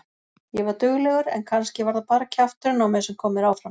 Ég var duglegur en kannski var það bara kjafturinn á mér sem kom mér áfram.